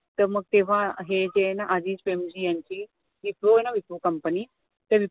तर मग तेव्हा हे जे आहे ना अजीम प्रेमजी यांची wipro आहे ना wipro company तर